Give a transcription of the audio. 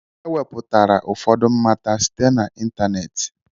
E nwepụtara ụfọdụ mmata site na ịntanetị